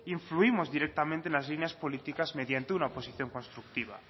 influimos directamente en las líneas políticas mediante una oposición constructiva